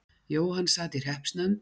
Jóhann sat í hreppsnefnd.